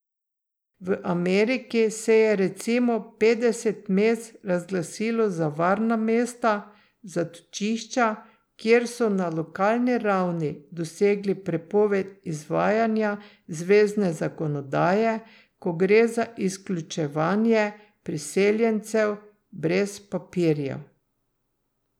V Ameriki se je recimo petdeset mest razglasilo za varna mesta, zatočišča, kjer so na lokalni ravni dosegli prepoved izvajanja zvezne zakonodaje, ko gre za izključevanje priseljencev brez papirjev.